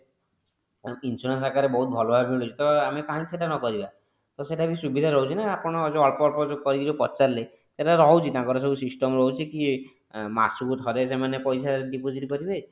insurance ଆକାରରେ ବହୁତ ଭଲ ଭାବେ ମିଳୁଛି ତ କାହିଁକି ସେଟା ନ କରିବା ତ ସେଟା ବି ସୁବିଧା ରହୁଛି ନା ଆପଣ ଯଉ ଅଳ୍ପ ଅଳ୍ପ କରିକି ପଚାରିଲି ସେଟା ରହୁଛି ତାଙ୍କର ଯୋଊ system ରହୁଛି କି ମାସକୁ ଥରେ ସେମାନେ ପଇସା deposit କରିବେ